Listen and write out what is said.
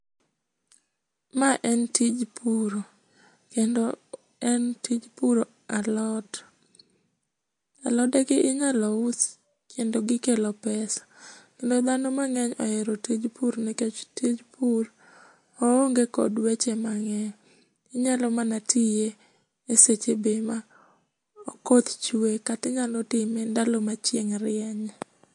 Ma en tij puro, kendo en tij puro alot. Alodegi inyalo us kendo gikelo pesa. Kendo dhano mang'eny ohero tij pur nikech tij pur oonge kod weche mang'eny. Inyalo mana tiye e seche be makoth chuwe kata inyalo time ndalo ma chieng' rienye.